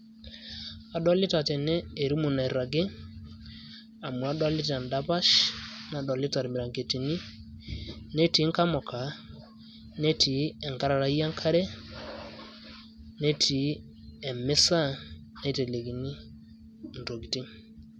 adolita tene erumu nairagi, amu adolita edapash, nadolita irmiranketini, netii inkamuka, netii enkararai enkare, netii emisa naitelekini intokitin.